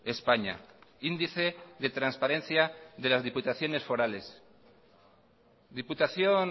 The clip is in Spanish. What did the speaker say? españa diputación